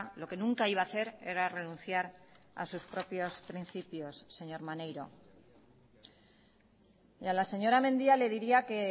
lo que nunca iba a hacer era renunciar a sus propios principios señor maneiro y a la señora mendia le diría que